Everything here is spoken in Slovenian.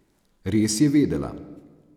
Res je vedela.